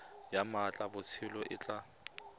ya mmatla botshabelo e tla